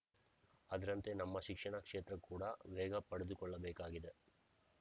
ಅದರಂತೆ ನಮ್ಮ ಶಿಕ್ಷಣ ಕ್ಷೇತ್ರಕೂಡ ವೇಗ ಪಡೆದುಕೊಳ್ಳಬೇಕಾಗಿದೆ